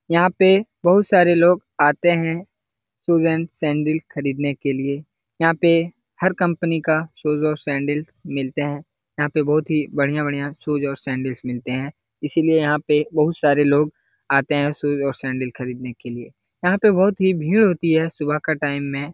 यहाँ पे बहुत सारे लोग आते हैं शूज एंड सैंडल खरीदने के लिए यहाँ पे हर कम्पनी का शूज और सैंडिल्स मिलते हैं यहाँ पे बहुत ही बढ़िया-बढ़िया शूज और सैंडिल्स मिलते हैं इसलिए यहाँ पे बहुत सारे लोग आते हैं शूज और सैंडल्स खरीदने के लिए यहाँ पे बहुत ही भीड़ होती है सुबह का टाइम में।